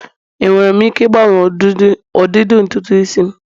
enwere m ike ịgbanwe ụdịdị ntutu isi'm?